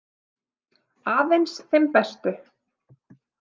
Aðeins þeim bestu.